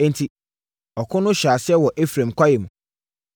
Enti, ɔko no hyɛɛ aseɛ wɔ Efraim kwaeɛ mu.